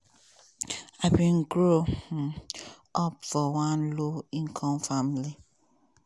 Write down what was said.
i bin grow um up for one low-income family.